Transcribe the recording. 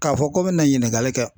K'a fɔ ko n bɛna ɲininkali kɛ